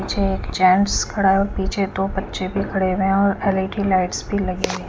पीछे क जेंट्स खड़ा है और पीछे दो बच्चे भी खड़े है और ऐल_इ_डी लाइट्स भी लगी है।